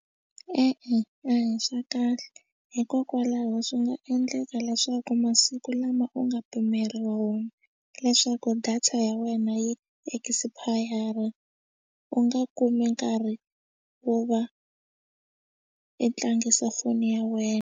E-e a hi swa kahle hikokwalaho swi nga endleka leswaku masiku lama u nga pimeriwa wona leswaku data ya wena yi expire u nga kumi nkarhi wo va i tlangisa foni ya wena.